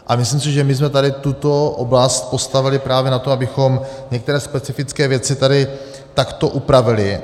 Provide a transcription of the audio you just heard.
A myslím si, že my jsme tady tuto oblast postavili právě na tom, abychom některé specifické věci tady takto upravili.